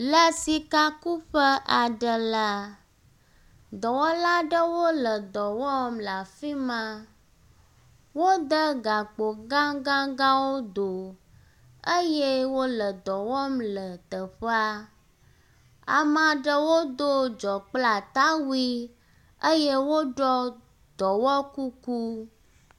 Le sikakuƒe aɖe la, dɔwɔla aɖewo le dɔ wɔm le afi ma. Wode gakpo gagagãwo do eye wo le dɔ wɔm le teƒea. Ame aɖewo wodo dzɔ kple atawui eye woɖɔ dɔwɔkuku.